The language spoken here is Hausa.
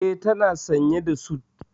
E, tana sanye da sut.